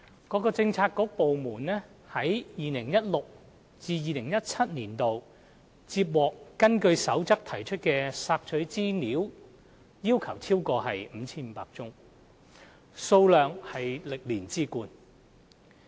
各政策局/部門於 2016-2017 年度接獲根據《公開資料守則》提出的索取資料要求超過 5,500 宗，數量為歷年之冠。